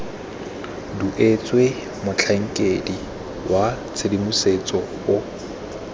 duetswe motlhankedi wa tshedimosetso o